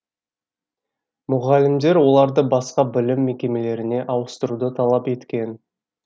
мұғалімдер оларды басқа білім мекемелеріне ауыстыруды талап еткен